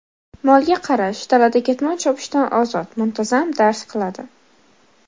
Molga qarash, dalada ketmon chopishdan ozod, muntazam dars qiladi.